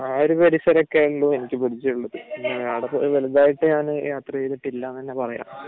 ആ ഒരു പരിസരമൊക്കെയേ ഉള്ളൂ എനിക്ക് പരിചയമുള്ളത് പിന്നെ അവിടെ വലുതായിട്ട് ഞാൻ യാത്ര ചെയ്തിട്ടില്ല എന്ന് തന്നെ പറയാം